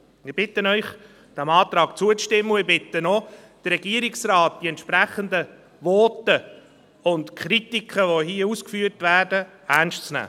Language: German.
Ich bitte Sie, diesem Antrag zuzustimmen, und ich bitte auch den Regierungsrat, die entsprechenden Voten und die Kritik, die hier geübt wird, ernst zu nehmen.